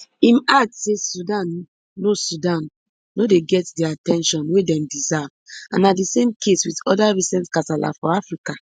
im add say sudan no sudan no dey get di at ten tion wey dem deserve and na di same case wit oda recent kasala for africa